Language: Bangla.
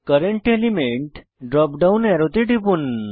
কারেন্ট এলিমেন্ট ড্রপ ডাউন অ্যারোতে টিপুন